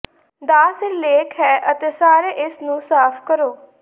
ਦਾ ਸਿਰਲੇਖ ਹੈ ਅਤੇ ਸਾਰੇ ਇਸ ਨੂੰ ਸਾਫ ਕਰੋ